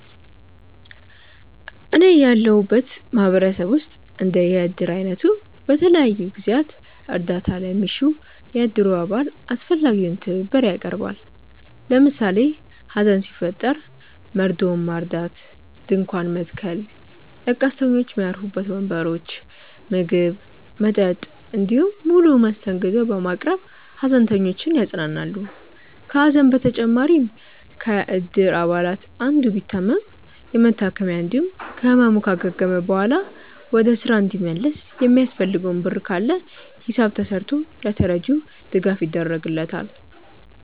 እኔ ያለሁበት ማህበረሰብ ውስጥ እንደ የእድር አይነቱ በተለያዩ ጊዜያት እርዳታ ለሚሻው የእድሩ አባል አስፈላጊውን ትብብር ያቀርባል። ለምሳሌ ሀዘን ሲፈጠር መርዶውን ማርዳት፣ ድንኳን መትከል፣ ለቀስተኞች ሚያርፉበት ወንበሮች፣ ምግብ፣ መጠጥ እንዲሁም ሙሉ መስተንግዶ በማቅረብ ሃዘንተኞችን ያጽናናሉ። ከሀዘን በተጨማሪም ከእድር አባላቱ አንዱ ቢታመም የመታከሚያ እንዲሁም ከህመሙ ካገገመ በኋላ ወደ ስራ እንዲመለስ የሚያስፈልገው ብር ካለ ሂሳብ ተስርቶ ለተረጂው ድጋፍ ይደረግለታል።